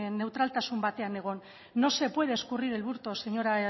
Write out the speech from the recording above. neutraltasun batean egon no se puede escurrir el bulto señora